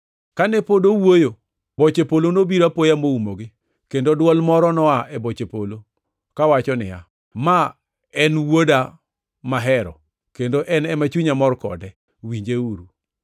Kane pod owuoyo, boche polo nobiro apoya moumogi, kendo dwol moro noa e boche polo kawacho niya, “Ma en Wuoda mahero kendo en ema chunya mor kode, winjeuru!”